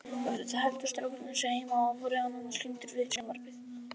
Eftir það héldu strákarnir sig heima og voru nánast límdir við sjónvarpið.